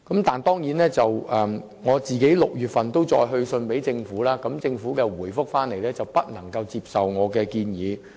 就此，我在6月份曾再次去信政府，政府卻回覆說不能接受我的建議。